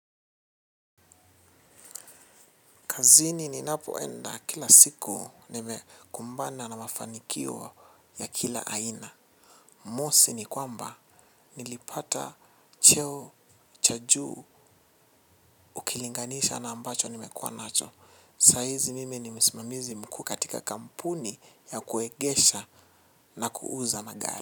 Kazini ninapoenda kila siku nimekumbana na mafanikio ya kila aina. Mosi ni kwamba nilipata cheo cha juu ukilinganisha na ambacho nimekua nacho. Sahizi mimi ni msimamizi mkuu katika kampuni ya kuegesha na kuuza magari.